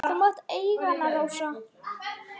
Þú mátt eiga hana, Rósa.